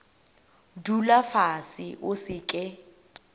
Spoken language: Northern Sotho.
dula fase o se ke